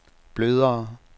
blødere